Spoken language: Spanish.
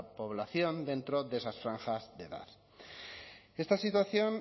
población dentro de esas franjas de edad esta situación